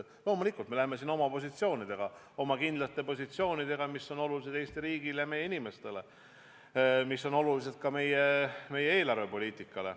Loomulikult me läheme siin edasi oma positsioonidega, oma kindlate positsioonidega, mis on olulised Eesti riigile, meie inimestele ja ka meie eelarvepoliitikale.